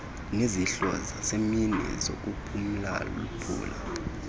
nezidlo zasemini zokuphulaphula